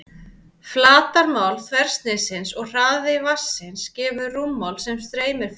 Flatarmál þversniðsins og hraði vatnsins gefur rúmmál sem streymir fram.